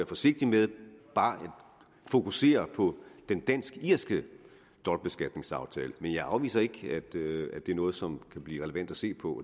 forsigtig med bare at fokusere på den dansk irske dobbeltbeskatningsaftale men jeg afviser ikke at det er noget som kan blive relevant at se på